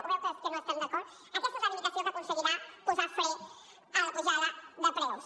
ho veu que no estem d’acord aquesta és la limitació que aconseguirà posar fre a la pujada de preus